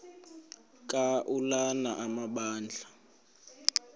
ka ulana amabandla